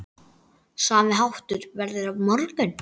Sami háttur verður á morgun.